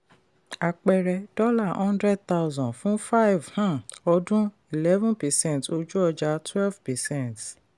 àpẹẹrẹ: dollar hundred thousand fún five um ọdún eleven percent ojú ọjà twelve percent.